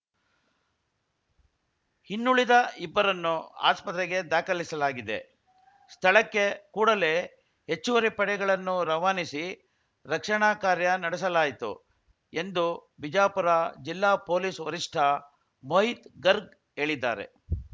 ಇನ್ನುಳಿದ ಇಬ್ಬರನ್ನು ಆಸ್ಪತ್ರೆಗೆ ದಾಖಲಿಸಲಾಗಿದೆ ಸ್ಥಳಕ್ಕೆ ಕೂಡಲೇ ಹೆಚ್ಚುವರಿ ಪಡೆಗಳನ್ನು ರವಾನಿಸಿ ರಕ್ಷಣಾ ಕಾರ್ಯ ನಡೆಸಲಾಯಿತು ಎಂದು ಬಿಜಾಪುರ ಜಿಲ್ಲಾ ಪೊಲೀಸ್‌ ವರಿಷ್ಠ ಮೋಹಿತ್‌ ಗರ್ಗ್‌ ಹೇಳಿದ್ದಾರೆ